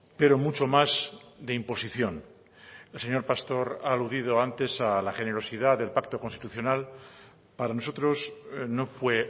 pero mucho más de imposición el señor pastor ha aludido antes a la generosidad del pacto constitucional para nosotros no fue